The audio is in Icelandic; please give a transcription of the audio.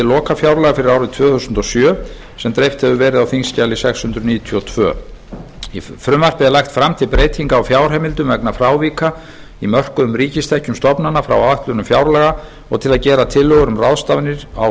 lokafjárlaga fyrir árið tvö þúsund og sjö sem dreift hefur verið á þingskjali sex hundruð níutíu og tvö frumvarpið er lagt fram til breytingar á fjárheimildum vegna frávika í mörkuðum ríkistekjum stofnana frá áætlunum fjárlaga og til að gera tillögur um ráðstafanir á